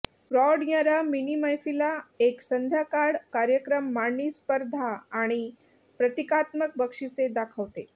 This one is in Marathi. प्रौढ यंरर्ा मिनी मैफिली एक संध्याकाळ कार्यक्रम मांडणी स्पर्धा आणि प्रतिकात्मक बक्षिसे दाखवते